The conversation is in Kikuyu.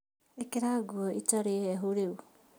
ĩkĩra nguo itarĩ hehu rĩu